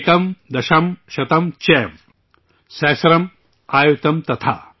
ایکم دشم شتم چیو، سہسرم ایونتم تھا